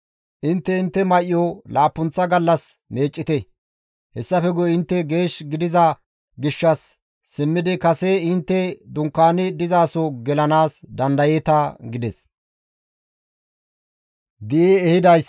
Intte intte may7o laappunththa gallas meeccite; hessafe guye intte geesh gidiza gishshas simmidi kase intte dunkaani dizaso gelanaas dandayeeta» gides.